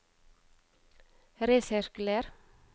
resirkuler